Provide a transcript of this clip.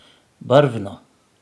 Barvno.